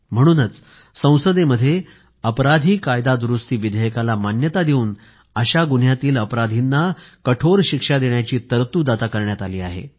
म्हणूनच संसदेमध्ये या अपराधाबाबतच्या कायदा दुरूस्ती विधेयकाला मान्यता देऊन अशा गुन्ह्यातील अपराधींना कठोर शिक्षा देण्याची तरतूद आता करण्यात आली आहे